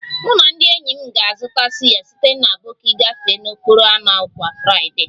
Mụ na ndị enyi m na-azụta suya site na aboki gafee n'okporo ámá kwa Friday